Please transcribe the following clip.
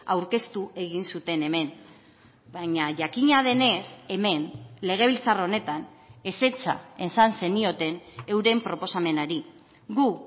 aurkeztu egin zuten hemen baina jakina denez hemen legebiltzar honetan ezetza esan zenioten euren proposamenari gu